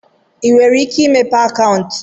ị nwere ike imepe akaụntụ?